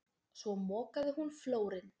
Svo mokaði hún flórinn.